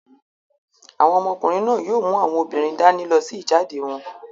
Àwọn ọmọkùnrin náà yóò mú àwọn obìnrin dání lọ sí ìjáde wọn.